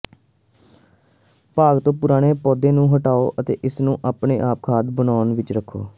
ਬਾਗ ਤੋਂ ਪੁਰਾਣੇ ਪੌਦੇ ਨੂੰ ਹਟਾਓ ਅਤੇ ਇਸ ਨੂੰ ਆਪਣੇ ਖਾਦ ਬੋਨ ਵਿਚ ਰੱਖੋ